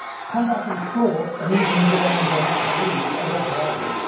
Combating fraud and easing burdens on SMEs are red herrings.